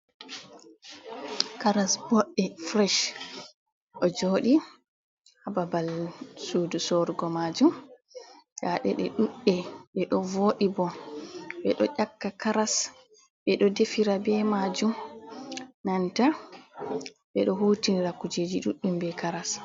Karas booɗɗe fureec, ɗo jooɗi haa babal suudu soorugo maajum. Ndaa ɗe ɗuuɗɗe, ɗe ɗo vooɗi bo. Ɓe ɗo ƴakka karas, ɓe ɗo defira be maajum, nanta ɓe ɗo hutinira kujeji duɗɗum, be karas.